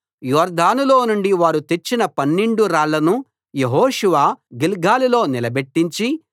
యొర్దానులో నుండి వారు తెచ్చిన పన్నెండు రాళ్లను యెహోషువ గిల్గాలులో నిలబెట్టించి